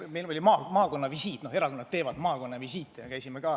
Meil oli maakonnavisiit, erakonnad ikka teevad maakonnavisiite.